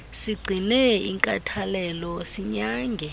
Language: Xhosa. sigcine inkathalelo sinyange